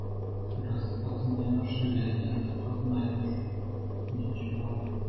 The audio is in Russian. распознаёшь или не распознаёшь ничего